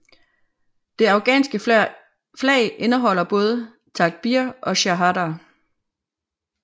Det afghanske flag indeholder både Takbir og Shahada